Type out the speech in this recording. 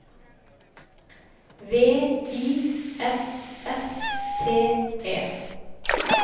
V I S S T E